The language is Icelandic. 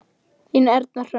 Þín Erna Hrönn.